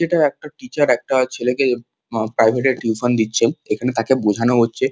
এটা একটা টিচার একটা ছেলেকে এ প্রাইভেট টিউশন দিচ্ছে এখানে তাকে বোঝানো হচ্ছে।